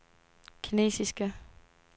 kinesiske